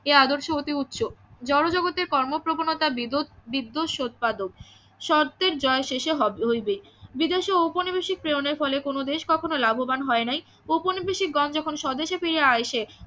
এ আদর্শ অতি উচ্চ জনজগতের কর্ম প্রবণতা উৎপাদক শর্তের জয় শেষে হইবেই বিদেশে ঔপনিবেশিক প্রেরনের ফলে দেশ কখনো লাভবান হয় নাই ঔপনিবেশকগণ যখন স্বদেশে ফিরে আইসে